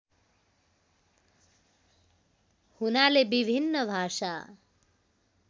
हुनाले विभिन्न भाषा